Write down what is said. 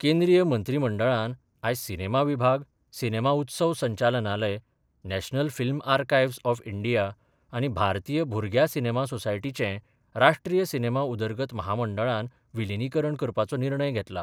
केंद्रीय मंत्रीमंडळान आयज सिनेमा विभाग, सिनेमा उत्सव संचालनालय, national film archives of India आनी भारतीय भुरग्या सिनेमा सोसायटीचे राष्ट्रीय सिनेमा उदरगत म्हामंडळान विलीनीकरण करपाचो निर्णय घेतला.